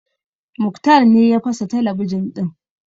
Muktar ne ya fasa talabijin ɗin